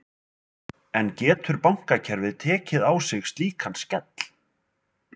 En getur bankakerfið tekið sig slíkan skell?